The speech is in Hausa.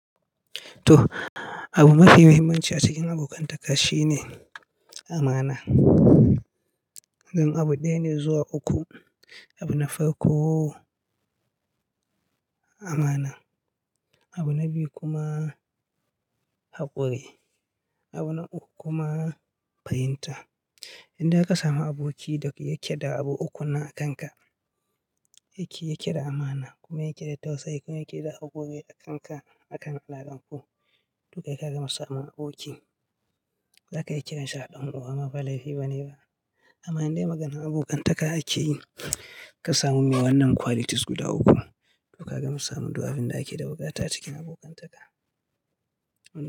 To, abu mafi muhimmanci a cikin abokantaka shine amana. Ɗan abu ɗaya ne zuwa uku, abu na farko amana, abu na biyu kuma haƙuri, abu na uku kuma fahimta. Idan ka samu aboki da yake da abu ukun nan a kanka, yake da amana kuma yake da tausayi kuma yake da haƙuri a kan alakar ku, to kai ka gama samun aboki. Za ka iya kiransa a dan uwa ma ba laifi ba ne ba. Amma idan dai maganar abokantaka ake yi, ka samu mai wannan qualities guda uku, to ka gama samun duk abinda ake da buƙata a cikin abokantaka.